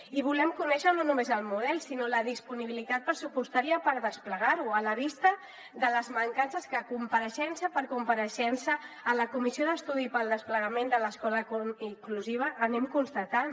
i volem conèixer no només el model sinó la disponibilitat pressupostària per desplegar lo a la vista de les mancances que compareixença per compareixença en la comissió d’estudi pel desplegament de l’escola inclusiva anem constatant